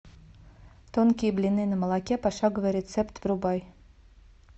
тонкие блины на молоке пошаговый рецепт врубай